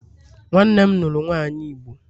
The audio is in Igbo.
Nwannem luru nwanyi igbo